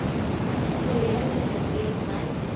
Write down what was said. Þau eru mér svo dýrmæt.